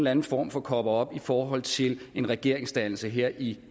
anden form for coverup i forhold til en regeringsdannelse her i